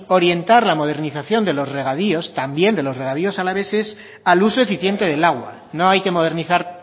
orientar la modernización de los regadíos también de los regadíos alaveses al uso eficiente del agua no hay que modernizar